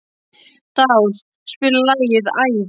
Dáð, spilaðu lagið „Æði“.